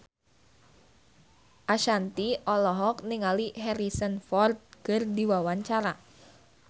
Ashanti olohok ningali Harrison Ford keur diwawancara